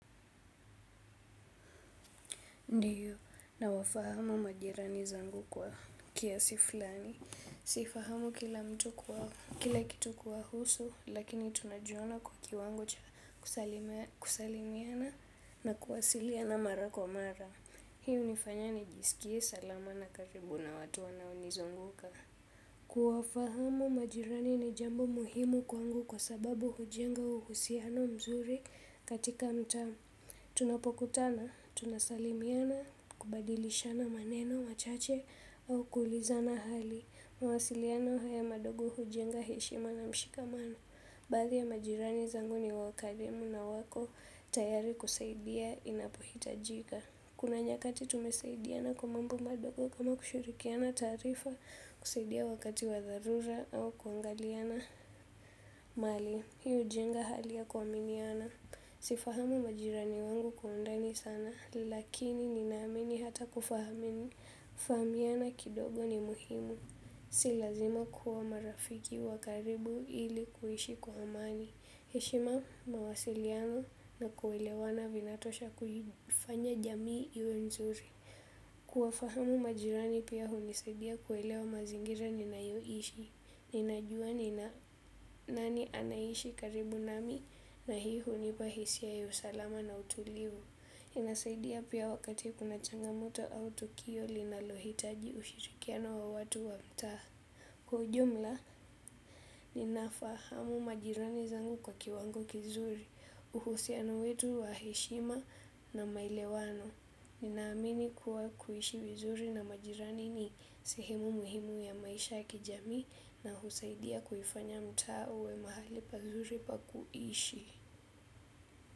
Ndiyo, na wafahamu majirani zangu kwa kiasi fulani. Sifahamu kila mtu kuwa, kila kitu kuwa husu, lakini tunajiona kwa kiwango kusalimiana na kuwasilia na mara kwa mara. Hii unifanye nijiskie salama na karibu na watu wanao nizunguka. Kuwafahamu majirani ni jambo muhimu kwangu kwa sababu hujenga uhusiano mzuri katika mta. Tunapokutana, tunasalimiana, kubadilishana maneno, machache au kuulizana hali. Mawasiliana haya madogo hujenga heshima na mshikamano. Baadhi ya majirani zanguni wakademu na wako tayari kusaidia inapohitajika. Kuna nyakati tumesaidiana kwa mambo madogo kama kushurikiana taarifa. Kusaidia wakati wa dharura au kuangaliana mali. Hiu ujenga hali ya kuaminiana. Sifahamu majirani wangu kwa undani sana, lakini ninamini hata kufahamini, fahamiana kidogo ni muhimu. Silazima kuwa marafiki wakaribu ili kuhishi kwa hamani. Heshima mawasiliano na kuelewana vinatosha kufanya jamii iwe nzuri. Kuwafahamu majirani pia hunisaidia kuelwa mazingira niniayoishi ninajua nina nani anaishi karibu nami na hii hunipa hisia ya usalama na utulivu, inasaidia pia wakati kuna changamoto au tokio linalohitaji ushirikiano wa watu wa mta. Kwa ujumla, ninafahamu majirani zangu kwa kiwango kizuri, uhusianu wetu wa heshima na maile wano. Ninaamini kuwa kuishi vizuri na majirani ni sehemu muhimu ya maisha kijami na husaidia kuhifanya mtaa uwe mahali pazuri pa kuishi.